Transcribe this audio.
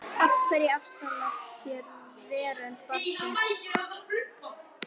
Af hverju afsala sér veröld barnsins?